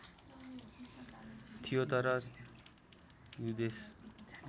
थियो तर ह्युजेस